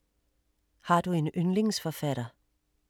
Har du en yndlingsforfatter?